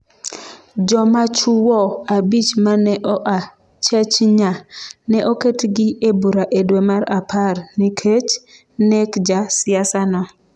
Jomachuwo abich ma ne oa Chechnya ne oketgi e bura e dwe mar apar, nikech nek ja siasano.